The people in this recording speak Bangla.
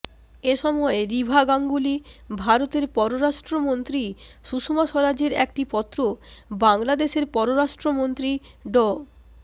এ সময় রিভা গাঙ্গুলী ভারতের পররাষ্ট্রমন্ত্রী সুষমা স্বরাজের একটি পত্র বাংলাদেশের পররাষ্ট্রমন্ত্রী ড